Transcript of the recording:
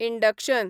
induction